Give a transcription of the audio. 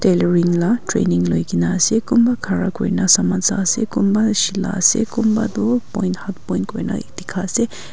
tailoring lah training loi ke na ase kunba khara kuri na saman sha se kunba silah ase kunba tu point half point koina dikha ase.